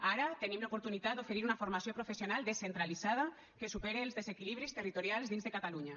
ara tenim l’oportunitat d’oferir una formació professional descentralitzada que supere els desequilibris territorials dins de catalunya